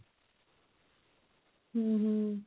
ହୁଁ ହୁଁ